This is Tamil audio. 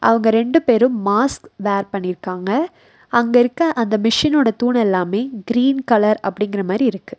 அவங்க ரெண்டு பேரு மாஸ்க் வேர் பண்ணிருக்காங்க அங்க இருக்க அந்த மிஷினோட தூண்ணெல்லாமே கிரீன் கலர் அப்டிங்கற மாரி இருக்கு.